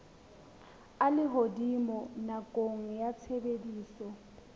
a lehodimo nakong ya tshebediso